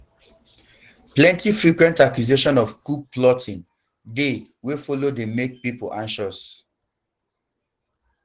plenti frequent accusations of coup plotting um dey um wey follow dey make pipo anxious